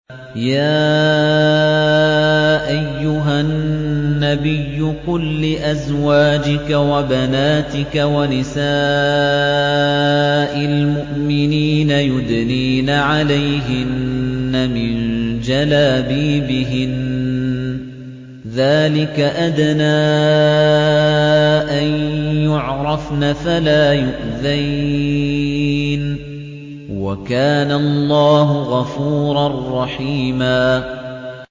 يَا أَيُّهَا النَّبِيُّ قُل لِّأَزْوَاجِكَ وَبَنَاتِكَ وَنِسَاءِ الْمُؤْمِنِينَ يُدْنِينَ عَلَيْهِنَّ مِن جَلَابِيبِهِنَّ ۚ ذَٰلِكَ أَدْنَىٰ أَن يُعْرَفْنَ فَلَا يُؤْذَيْنَ ۗ وَكَانَ اللَّهُ غَفُورًا رَّحِيمًا